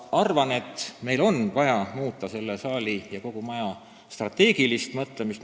Arvan, et meil on vaja muuta selle saali ja kogu maja strateegilist mõtlemist.